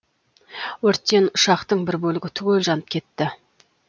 өрттен ұшақтың бір бөлігі түгел жанып кетті